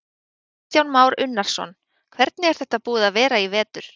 Kristján Már Unnarsson: Hvernig er þetta búið að vera í vetur?